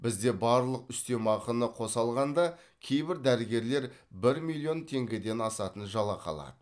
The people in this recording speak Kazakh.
бізде барлық үстемақыны қоса алғанда кейбір дәрігерлер бір миллион теңгеден асатын жалақы алады